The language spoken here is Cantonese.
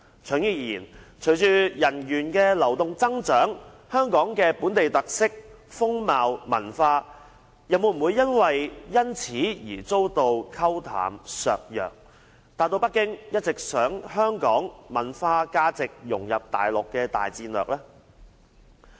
長遠而言，隨着人員流動上的增長，香港的本地特色、風貌、文化又會否因而遭到沖淡、削弱，實現北京一直希望香港文化、價值能融入內地的大戰略？